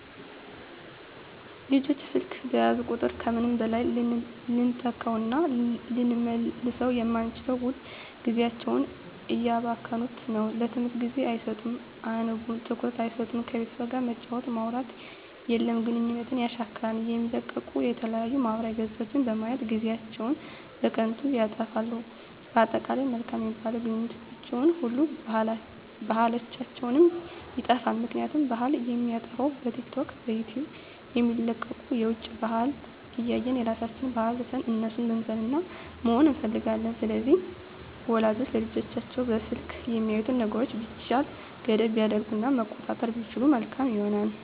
ልጆች ስልክ በያዙ ቁጥር ከምንም በላይ ልንተካዉእና ልንመልሰዉ የማንችለዉን ዉድ ጊዜያቸዉን እያባከኑት ነዉ ለትምህርት ጊዜ አይሰጡም አያነቡም ትኩረት አይሰጡም ከቤተሰብ ጋርም መጫወት ማዉራት የለም ግንኙነትን የሻክራል የሚለቀቁ የተለያዩ ማህበራዊ ገፆችን በማየት ጊዜአችን በከንቱ ይጠፋል በአጠቃላይ መልካም የሚባሉ ግንኙነታችንንም ሆነ ባህላችንንም ይጠፋል ምክንያቱም ባህል የሚጠፋዉ በቲክቶክ በዩቲዩብ የሚለቀቁትን የዉጭ ባህልን እያየን የራሳችንን ባህል ትተን እነሱን መምሰልና መሆን እንፈልጋለን ስለዚህ ወላጆች ለልጆቻቸዉ በስልክ የሚያዩትን ነገሮች ቢቻል ገደብ ቢያደርጉበት እና መቆጣጠር ቢችሉ መልካም ይሆናል